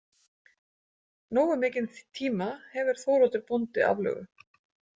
Nógu mikinn tíma hefur Þóroddur bóndi aflögu.